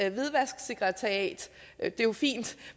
et hvidvasksekretariat det er jo fint